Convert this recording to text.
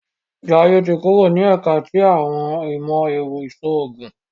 Jaiye tí kúrò ni ẹka ti awọn imọ-ẹrọ iṣoogun